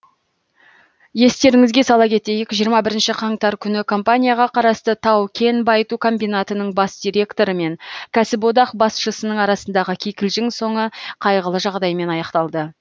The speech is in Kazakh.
естеріңізге сала кетейік жиырма бірінші қаңтар күні компанияға қарасты тау кен байыту комбинатының бас директоры мен кәсіподақ басшысының арасындағы кикілжің соңы қайғылы жағдаймен аяқталды